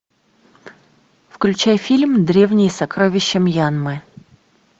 включай фильм древние сокровища мьянмы